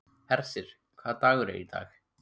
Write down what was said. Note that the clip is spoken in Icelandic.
Hersir, hvaða dagur er í dag?